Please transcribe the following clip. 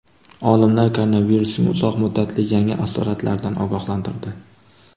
Olimlar koronavirusning uzoq muddatli yangi asoratlaridan ogohlantirdi.